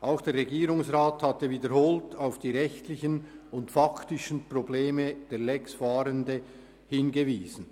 Auch der Regierungsrat hatte wiederholt auf die rechtlichen und faktischen Probleme der «Lex-Fahrenden» hingewiesen.